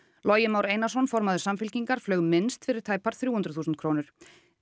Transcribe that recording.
Logi Már Einarsson formaður Samfylkingar flaug minnst fyrir tæpar þrjú hundruð þúsund krónur